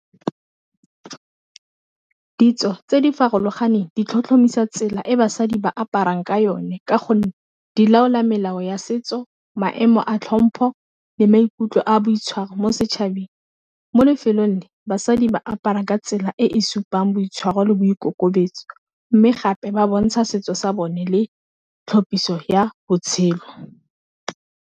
Ditso tse di farologaneng di tlhotlhomisa tsela e basadi ba aparang ka yone, ka gonne di laola melao ya setso, maemo a tlhompho, le maikutlo a boitshwaro mo setšhabeng, mo lefelong le basadi ba apara ka tsela e e supang boitshwaro le boikokobetso, mme gape ba bontsha setso sa bone le tlhophisa ya botshelo.